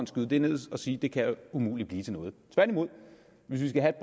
skyde det ned og sige det kan umuligt blive til noget hvis vi skal have